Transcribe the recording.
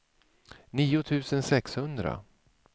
nio tusen sexhundra